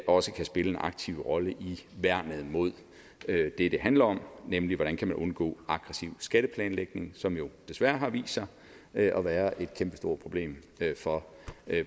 også kan spille en aktiv rolle i værnet mod det det handler om nemlig hvordan man kan undgå aggressiv skatteplanlægning som jo desværre har vist sig at være et kæmpestort problem for